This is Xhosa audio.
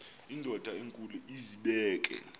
indod enkulu izibeke